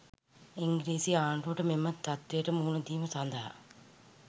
ඉංග්‍රීසි ආණ්ඩුවට මෙම තත්ත්වයට මුහුණ දීම සඳහා